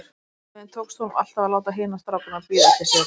Einhvern veginn tókst honum alltaf að láta hina strákana bíða eftir sér.